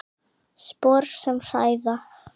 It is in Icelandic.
Spor sem hræða.